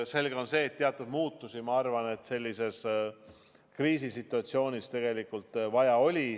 Selge on see, et teatud muutusi sellises kriisisituatsioonis tegelikult vaja oli.